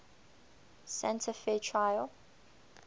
santa fe trail